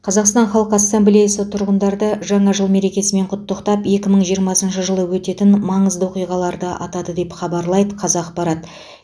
қазақстан халқы ассамблеясы тұрғындарды жаңа жыл мерекесімен құттықтап екі мың жиырмасыншы жылы өтетін маңызды оқиғаларды атады деп хабарлайды қазақпарат